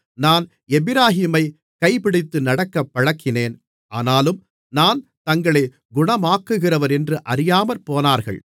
நான் எப்பிராயீமைக் கைபிடித்து நடக்கப் பழக்கினேன் ஆனாலும் நான் தங்களைக் குணமாக்குகிறவரென்று அறியாமற்போனார்கள்